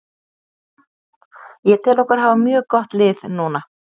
Ég tel okkur hafa mjög gott lið núna.